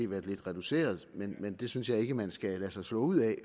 været lidt reduceret men det synes jeg ikke man skal lade sig slå ud af